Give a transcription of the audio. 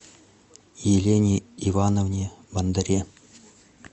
елене ивановне бондаре